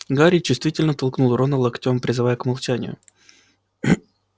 гарри чувствительно толкнул рона локтём призывая к молчанию